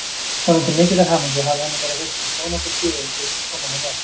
Honum til mikillar hamingju hafði honum verið veittur þónokkur féauki sem kom honum vel.